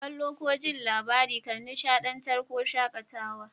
Kalla'n ko ji'n labari kan nishadantar ko shakatawa.